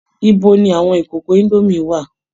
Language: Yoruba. Ibo ni àwọn ìkòkò indomie wà?